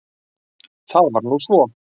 Það var nú svo!